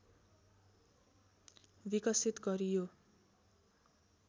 विकसित गरियो